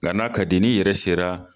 Nka n'a ka di ye, ni yɛrɛ sera